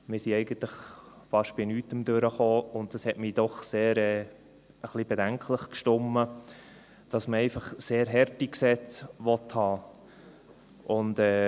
Wir sind eigentlich fast bei nichts durchgekommen, und es hat mich doch ein wenig bedenklich gestimmt, dass man einfach sehr harte Gesetze haben will.